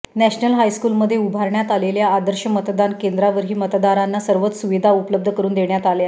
national हायस्कूलमध्ये उभारण्यात आलेल्या आदर्श मतदान केंद्रावरही मतदारांना सर्वच सुविधा उपलब्ध करून देण्यात आल्या